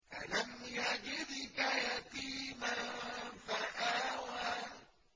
أَلَمْ يَجِدْكَ يَتِيمًا فَآوَىٰ